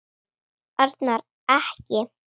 Arnar. ekki!